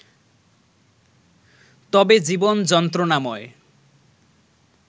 তবে জীবন যন্ত্রণাময়